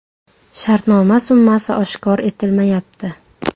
Shartnoma summasi oshkor etilmayapti.